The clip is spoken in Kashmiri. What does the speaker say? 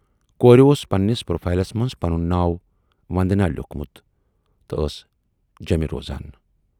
کورِ اوس پنہٕ نِس پروفائیلس منز پنن ناو وندناؔ لیوٗکھمُت تہٕ ٲس جیمے روزان۔